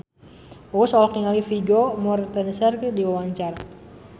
Uus olohok ningali Vigo Mortensen keur diwawancara